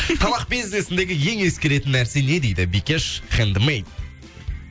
тамақ бизнесіндегі ең ескеретін нәрсе не дейді бикеш хендмэй